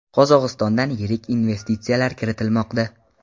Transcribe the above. Qozog‘istondan yirik investitsiyalar kiritilmoqda.